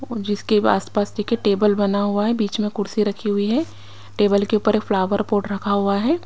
जिसके आसपास देखिए टेबल बना हुआ है बीच में कुर्सी रखी हुई है टेबल के ऊपर एक फ्लावर पोर्ट रखा हुआ है।